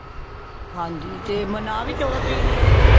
ਹਾਂਜੀ ਤੇ ਮਨਾਂ ਵੀ ਚੋਹਦਾ ਤਰੀਕ ਨੂੰ ਰਹੇ ਨੇ